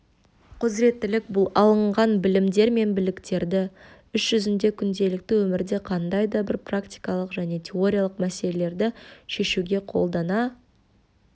құзыреттілік бұл алынған білімдер мен біліктерді іс-жүзінде күнделікті өмірде қандай да бір практикалық және теориялық мәселелерді шешуге қолдана